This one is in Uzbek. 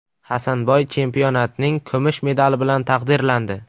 Hasanboy chempionatning kumush medali bilan taqdirlandi.